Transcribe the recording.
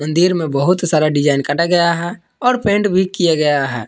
दिर में बहुत सारा डिजाइन काटा गया है और पेंट भी किया गया है।